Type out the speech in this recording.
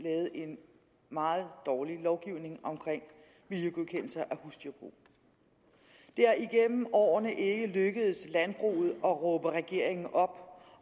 lavede en meget dårlig lovgivning om miljøgodkendelser af husdyrbrug det er igennem årene ikke lykkedes landbruget at råbe regeringen op